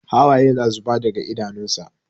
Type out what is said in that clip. Hawaye na zuba daga idanunsa.